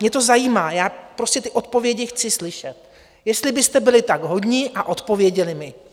Mě to zajímá, já prostě ty odpovědi chci slyšet, jestli byste byli tak hodní a odpověděli mi.